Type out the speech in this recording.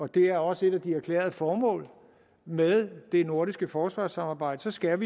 det er også et af de erklærede formål med det nordiske forsvarssamarbejde så skal